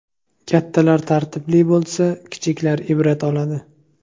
Kattalar tartibli bo‘lsa, kichiklar ibrat oladi.